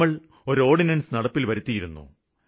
നമ്മള് ഒരു ഓര്ഡിനന്സ് നടപ്പില്വരുത്തിയിരുന്നു